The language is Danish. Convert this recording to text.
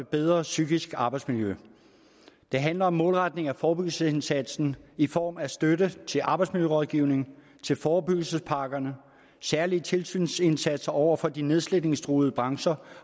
bedre psykisk arbejdsmiljø det handler om målretning af forebyggelsesindsatsen i form af støtte til arbejdsmiljørådgivning til forebyggelsespakkerne særlige tilsynsindsatser over for de nedslidningstruede brancher